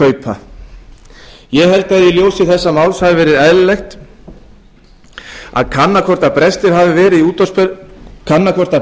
ríkiskaupa ég held að í ljósi þessa máls hafi verið eðlilegt að kanna hvort að